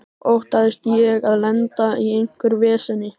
Óttaðist ég að lenda í einhverju veseni?